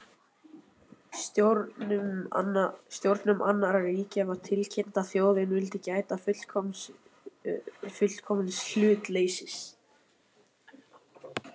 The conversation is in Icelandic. Stjórnum annarra ríkja var síðan tilkynnt, að þjóðin vildi gæta fullkomins hlutleysis